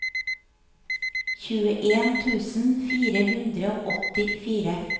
tjueen tusen fire hundre og åttifire